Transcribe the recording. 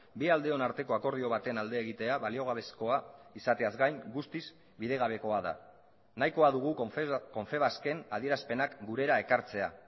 bi aldeon arteko akordio baten alde egitea baliogabezkoa izateaz gain guztiz bidegabekoa da nahikoa dugu confebasken adierazpenak gurera ekartzea